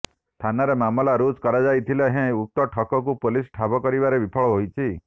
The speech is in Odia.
ଥାନାରେ ମାମଲା ରୁଜୁ କରାଯାଇଥିଲେ ହେଁ ଉକ୍ତ ଠକଙ୍କୁ ପୋଲିସ ଠାବ କରିବାରେ ବିଫଳ ହୋଇଛି